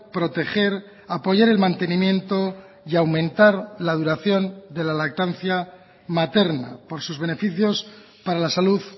proteger apoyar el mantenimiento y aumentar la duración de la lactancia materna por sus beneficios para la salud